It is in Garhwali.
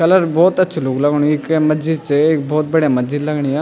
कलर बहौत अच्छु लुक लगणु ये केै मस्जिद च एक बहौत बढ़िया मस्जिद लगणी या।